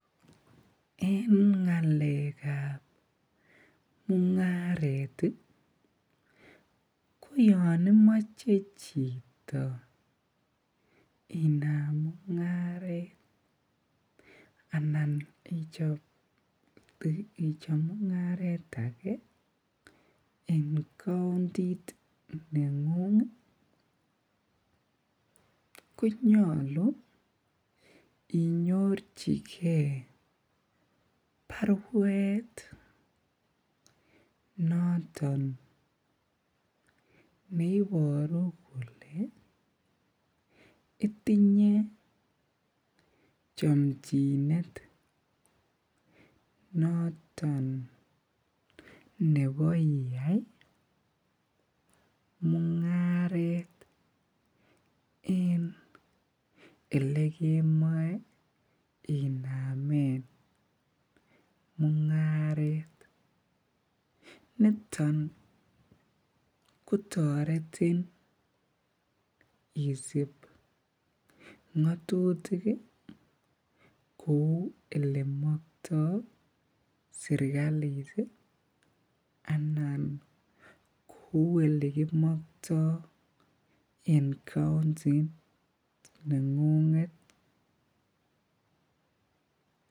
En ngalekab mungaret ko yoon imoche chito inam mungaret anan ichob mungaret akee en countit nengung konyolu inyorchike barwet noton neboru kolee itinye chomchinet noton nebo iyai mungaret en elekemoe inamen mungaret, niton kotoretin isib ngotutik kouu elemokto serikalit anan kou elekimokto en countit nengunget.